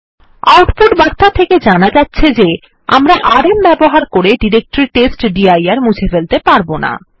output বার্তা থেকে জানা যাচ্ছে যে আমরা আরএম ব্যবহার করে ডিরেক্টরি টেস্টডির মুছে ফেলতে পারব না